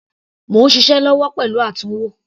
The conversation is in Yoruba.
Mò ń ṣiṣẹ́ lọ́wọ́ pẹ̀lú àtúnwò.